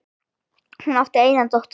Hún átti eina dóttur.